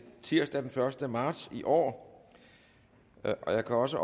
tirsdag den første marts i år jeg kan også